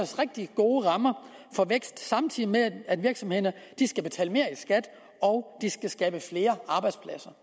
rigtig gode rammer for vækst samtidig med at virksomhederne skal betale mere i skat og skabe flere arbejdspladser